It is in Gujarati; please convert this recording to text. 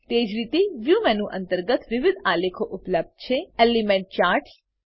તેજ રીતે વ્યૂ મેનુ અંતર્ગત વિવિધ આલેખો ઉપલબ્ધ છે એલિમેન્ટ ચાર્ટ્સ